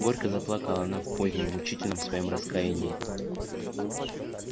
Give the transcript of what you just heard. горько заплакала она в позднем мучительном своём раскаянии